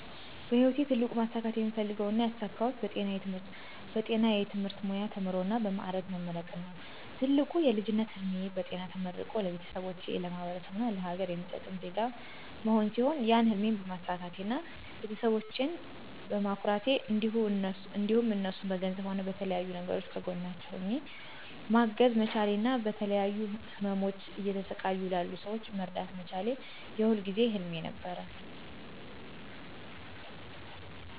በህይወቴ ትልቁ ማሳካት የምፈልገው እና ያሳካሁት በጤና የትምህርት ሙያ ተምሮ እና በ ማዕረግ መመረቅን ነው። ትልቁ የልጅነት ህልሜ በጤና ተመርቆ ለቤተሰቦቼ፣ ለማህበረሰቡ እና ለሀገር የሚጠቅም ዜጋ መሆን ሲሆን ያን ህልም በማሳካቴ እና ቤተሰቦቸን በማኩራቴ እንዲሁም እነርሱን በገንዘብም ሆነ በተለያዩ ነገሮች ከጎናቸው ሆኘ ማገዝ መቻሌ እና በተለያዩ ህመሞች እየተሰቃዩ ላሉ ሰወችን መርዳት መቻሌ የሁል ጊዜ ህልሜ ነበር።